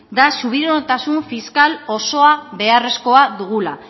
da subiranotasun fiskal osoa beharrezkoa dugula